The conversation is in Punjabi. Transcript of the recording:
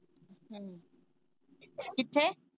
ਕਿੱਥੇ।